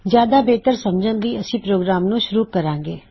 ਜਿਆਦਾ ਬਿਹਤਰ ਸਮਝਣ ਲਈ ਅਸੀਂ ਪ੍ਰੋਗਰਾਮ ਨੂੰ ਸ਼ੁਰੂ ਕਰਾਂਗੇ